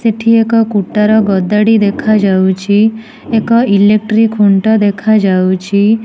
ଏଠି ଏକ କୁଟାର ଗଦା ଟି ଦେଖାଯାଉଛି ଏକ ଇଲେକଟ୍ରି ଖୁଣ୍ଟ ଦେଖାଯାଉଛି।